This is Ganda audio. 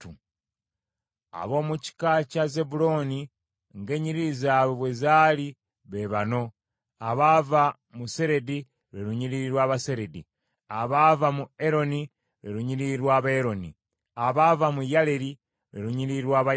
Ab’omu kika kya Zebbulooni ng’ennyiriri zaabwe bwe zaali be bano: abaava mu Seredi, lwe lunyiriri lw’Abaseredi; abaava mu Eroni, lwe lunyiriri lw’Abaeroni; abaava mu Yaleeri, lwe lunyiriri lw’Abayaleeri.